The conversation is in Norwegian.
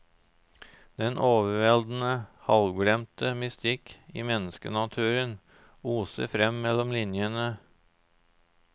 Den overveldende, halvglemte mystikk i menneskenaturen oser frem mellom linjene.